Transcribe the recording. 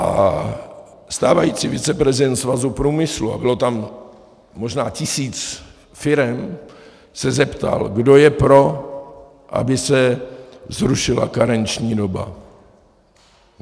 A stávající viceprezident Svazu průmyslu, a bylo tam možná tisíc firem, se zeptal, kdo je pro, aby se zrušila karenční doba.